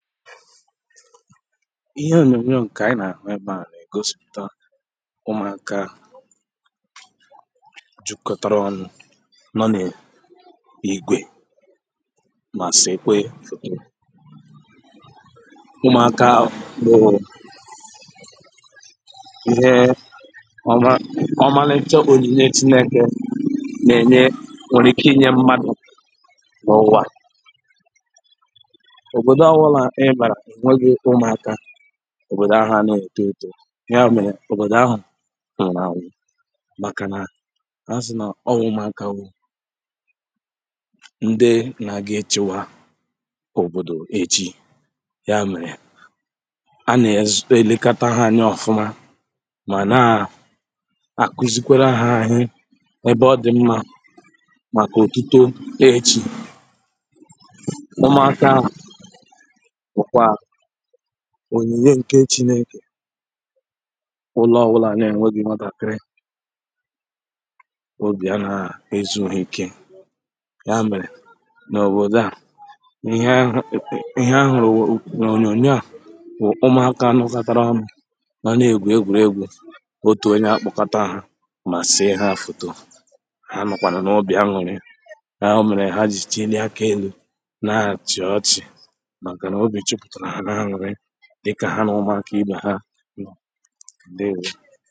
ihe ònyònyo ǹkè ànyi n’àhụ ebeā nà-ègosipùta ụmụ̀aka jukotara ọnụ̄ nọ n’ìgwè mà sèkwe fòto ụmụ̀aka ahụ̀ bụ̀ ihe ọmalicha ònyìnye chinekè nà-ènye nwere ike inyē mmadụ̀ n’ùwà òbòdò ọwụlà i bàrà wegi ụmụ̀aka òbòdò ahụ̀ ana ètoetō ya mèrè òbòdò ahụ̀ nwụ̀rụ̀ ànwụ màkà nà a sì nà ọwū ụmụ̀akā wụ́ nde na-aga etiwa òbòdò ejì ya mèrè a nà-ezupe elekata ha anya ọ̀fụma màna àkwuzikwere ha ihe ebe ọdị̀ mmā màkà ọ̀tụtụ e jì ụmụ̀akā bụ̀kwà ònyìnye ǹke chinekè ụlọ̀ ọwụlà n’enweghī ụmụ̀ntàkiri obì ànaghā ezù ha ike ya mèrè n’òbòdòa ihe a hụ̀rụ̀ wụ̀ n’ònyònyòa bụ̀ ụmụ̀aka lọkọtarā ọnụ̄ mànà egwù egwùrìegwū otù onye apụ̀kọta ọnụ̄ mà sìe ha fòto ha nọ̀kwànụ̀ n’obì anwụ̀ri ya mèrè ha jì chịlịe aka elū na-achị̀ ọchị̀ màkà n’obì jupùtèrè ha n’anwụ̀ri dikà ha nà ụmụ̀aka ibè ha ǹdewō